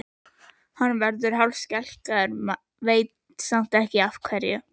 Hann verður hálfskelkaður, veit samt ekki af hverju.